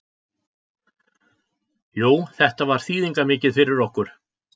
Jú þetta var þýðingarmikið fyrir okkur.